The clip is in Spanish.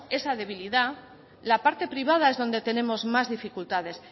esa debilidad la parte privada es donde tenemos más dificultades